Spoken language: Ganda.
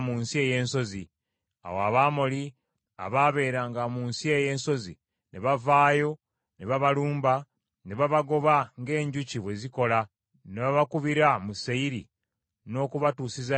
Awo Abamoli abaabeeranga mu nsi eyo ey’ensozi, ne bavaayo ne babalumba, ne babagoba ng’enjuki bwe zikola, ne babakubira mu Seyiri n’okubatuusiza ddala e Koluma.